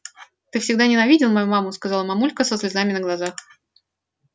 ты всегда ненавидел мою маму сказала мамулька со слезами на глазах